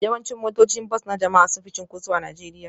Yawancin motocin bas na jama'a sun fi cunkoso a Najeriya